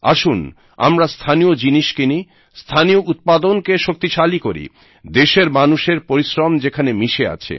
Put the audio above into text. আসুন আমরা স্থানীয় জিনিস কিনি স্থানীয় উৎপাদন কে শক্তিশালী করি দেশের মানুষের পরিশ্রম যেখানে মিশে আছে